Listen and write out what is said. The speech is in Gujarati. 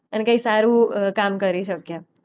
અને કંઈ સારું અ કામ કરી શકીએ.